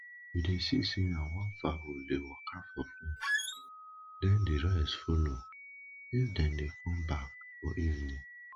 we dey see say na one fowl dey waka for front then the rest follow if them dey come back for evening